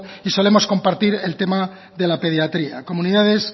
y solemos compartir el tema de la pediatría comunidades